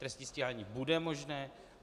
Trestní stíhání bude možné.